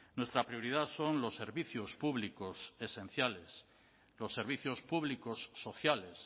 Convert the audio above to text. nuestra prioridad son los servicios públicos esenciales los servicios públicos sociales